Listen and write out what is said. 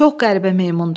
Çox qəribə meymundu.